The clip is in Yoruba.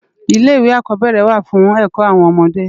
Ilé iwé ákòbèrè wá fún èkò áwòn òmòdé